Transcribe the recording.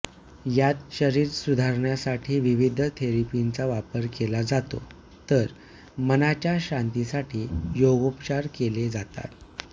यात शरीर सुधारण्यासाठी विविध थेरपींचा वापर केला जातो तर मनाच्या शांतीसाठी योगोपचार केले जातात